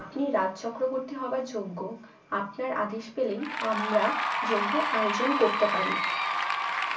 আপনি রাজ চক্রবর্তী হবার যোগ্য আপনার আদেশ পেলেই আমরা যজ্ঞের আয়োজন করতে পারি